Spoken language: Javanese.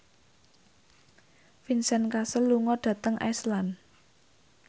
Vincent Cassel lunga dhateng Iceland